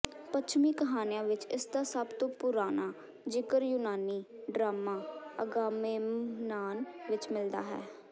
ਪੱਛਮੀ ਕਹਾਣੀਆਂ ਵਿੱਚ ਇਸਦਾ ਸਭ ਤੋਂ ਪੁਰਾਣਾ ਜਿਕਰ ਯੂਨਾਨੀ ਡਰਾਮਾ ਅਗਾਮੇਮਨਾਨ ਵਿੱਚ ਮਿਲਦਾ ਹੈ